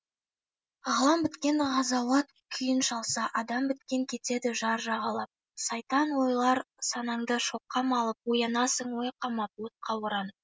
ғалам біткен ғазауат күйін шалса адам біткен кетеді жар жағалап сайтан ойлар санаңды шоққа малып оянасың ой қамап отқа оранып